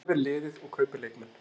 Ég vel liðið og kaupi leikmenn.